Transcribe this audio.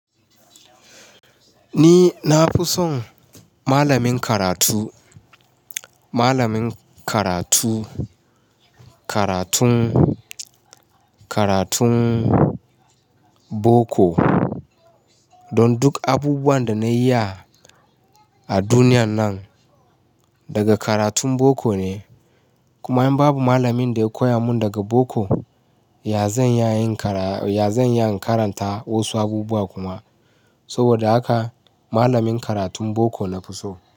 Ni na fi son malamin karatu, malamin karatu, karatun, karatun boko. Don duk abubuwan da na iya a duniyan nan daga karatun boko ne. Kuma in babu malamin da ya koya mun daga boko, ya zan iya yin karaya, ya zan iya karanta wasu abubuwa kuma. Saboda haka malamin karatun boko na fi so.